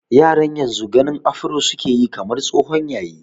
Yaran yanzu ganin afro su ke yi kamar tsohon yayi.